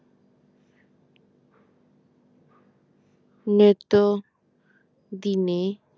নিত্য দিনে